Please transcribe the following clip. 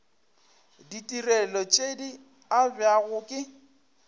ditirelo tše di abjago ke